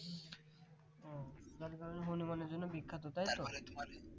ও তার মানে হনুমানের জন্য বিখ্যাত তাই তো